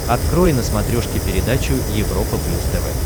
открой на смотрешке передачу европа плюс тв